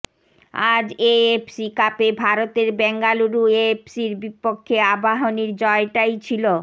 আজ এএফসি কাপে ভারতের বেঙ্গালুরু এফসির বিপক্ষে আবাহনীর জয়টাই ছিল